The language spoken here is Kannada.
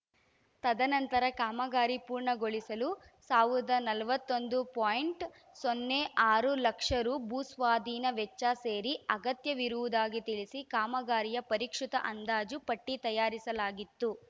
ತದನಂತರ ಕಾಮಗಾರಿ ಪೂರ್ಣಗೊಳಿಸಲು ಸಾವಿರದ ನಲವತ್ತೊಂದು ಪಾಯಿಂಟ್ ಸೊನ್ನೆ ಆರು ಲಕ್ಷ ರೂಭೂಸ್ವಾಧೀನ ವೆಚ್ಚ ಸೇರಿ ಅಗತ್ಯವಿರುವುದಾಗಿ ತಿಳಿಸಿ ಕಾಮಗಾರಿಯ ಪರಿಷ್ಕೃತ ಅಂದಾಜು ಪಟ್ಟಿತಯಾರಿಸಲಾಗಿತ್ತು